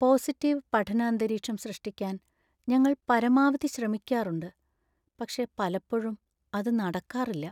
Positive പഠന അന്തരീക്ഷം സൃഷ്ടിക്കാൻ ഞങ്ങൾ പരമാവധി ശ്രമിക്കാറുണ്ട്, പക്ഷേ പലപ്പോഴും അത് നടക്കാറില്ല.